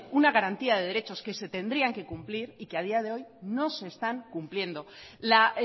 unas garantías de derechos que se tendrían que cumplir y que a día de hoy no se están cumpliendo la